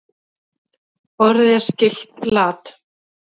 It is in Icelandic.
Orðið er skylt lat.